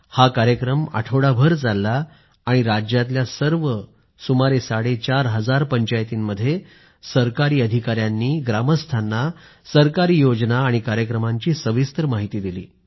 हा कार्यक्रम आठवडाभर चालला आणि राज्यातल्या सर्व सुमारे साडेचार हजार पंचायतींमध्ये सरकारी अधिकाऱ्यांनी ग्रामस्थांना सरकारी योजना आणि कार्यक्रमांची सविस्तर माहिती दिली